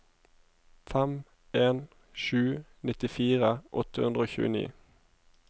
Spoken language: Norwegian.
fem en sju to nittifire åtte hundre og tjueni